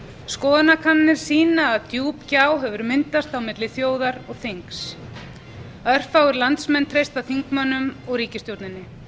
skoðanakannanir sýna að djúp gjá hefur myndast á milli þjóðar og þings örfáir landsmenn treysta þingmönnum og ríkisstjórninni